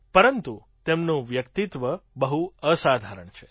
પરંતુ તેમનું વ્યક્તિત્વ બહુ અસાધારણ છે